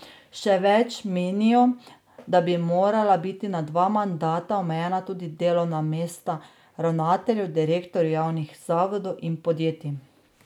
Še več, menijo, da bi morala biti na dva mandata omejena tudi delovna mesta ravnateljev, direktorjev javnih zavodov in podjetij.